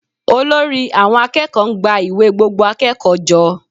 Olórí àwọn akẹ́kọ̀ọ́ ń gba ìwé gbogbo akẹ́kọ̀ọ́ jọ